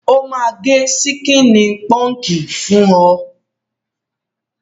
Ó máa gẹ síkíní pọǹkì fún ọ.